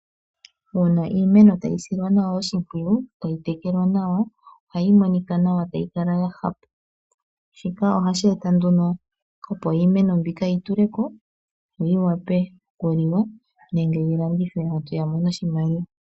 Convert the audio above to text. Uuna iimeno tayi silwa nawa oshimpwiyu tayi tekelwa nawa ohayi monika nawa tayi kala ya hapa. Shika ohashi eta nduno opo iimeno mbika yi tuleko yo yi vule okuliwa nenge yi landithwe aantu ya mone oshimaliwa.